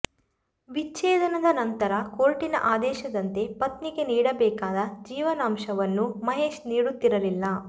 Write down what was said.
ವಿಚ್ಛೇದನದ ನಂತರ ಕೋರ್ಟಿನ ಆದೇಶದಂತೆ ಪತ್ನಿಗೆ ನೀಡಬೇಕಾದ ಜೀವನಾಂಶವನ್ನು ಮಹೇಶ್ ನೀಡುತ್ತಿರಲಿಲ್ಲ